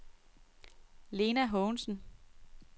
Lena Haagensen